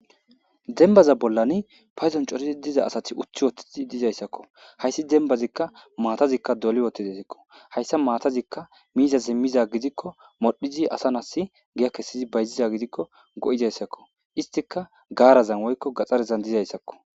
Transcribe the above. Dembbaza bollani paydon coridi diza asathi uthth7uththidi dizayssakoo, haysi dembbazikka maathazikka doli woththizezikko, hayssazi maathazikka miizazi mizaa gidikko modhdhizi asa na7assi giya kessidi bayziya gidikko go7izaysakoo; isskka gaaraza woykko gaxarezan dizaysakoo.